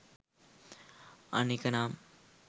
අනෙක නම්